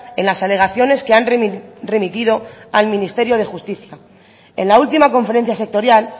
en las alegaciones que han remitido al ministerio de justicia en la última conferencia sectorial